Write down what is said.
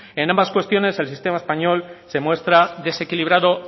en ambas cuestiones el sistema español se muestra desequilibrado